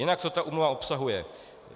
Jinak co ta úmluva obsahuje.